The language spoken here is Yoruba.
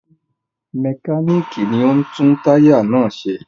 Mẹkáníkì ni ó ń tún táyà náà ṣe.